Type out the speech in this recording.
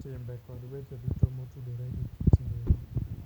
timbe kod weche duto motudore gi kit ngima.